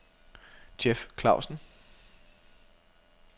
Jeff Klavsen